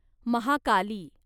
Mahakali